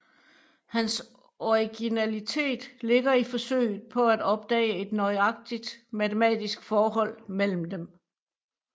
Hans originalitet ligger i forsøget på at opdage et nøjagtig matematisk forhold mellem dem